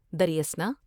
در یں اثنا